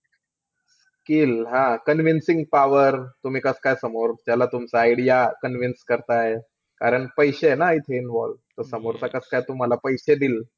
Skill हां. Convincing power, तुम्ही कस-काय समोरच्याला तुमचा idea convince करताय. कारण पैशे आहे ना इथं involve. तो समोरचा कस-काय तुम्हाला पैशे देईल.